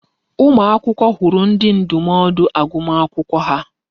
Ụmụ akwụkwọ hụrụ ndi ndụmọdụ agụmakwụkwọ ha.